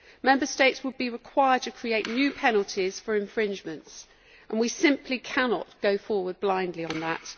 Member States will be required to create new penalties for infringements, and we simply cannot go forward blindly on that.